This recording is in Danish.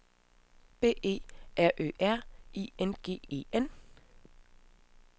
B E R Ø R I N G E N